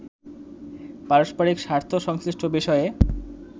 পারস্পরিক স্বার্থ সংশ্লিষ্ট বিষয়ে